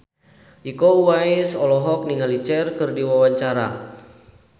Iko Uwais olohok ningali Cher keur diwawancara